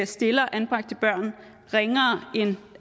stiller anbragte børn ringere end